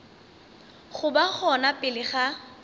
go ba gona pele ga